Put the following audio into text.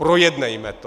Projednejme to!